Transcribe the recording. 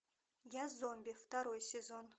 я зомби второй сезон